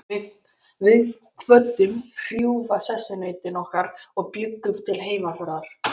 Við kvöddum hrjúfa sessunautinn okkar og bjuggumst til heimferðar.